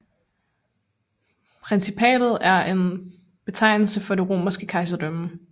Principatet er en betegnelse for det romerske kejserdømme